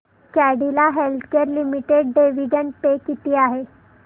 Cadila healthcare limited dividend pay किती आहे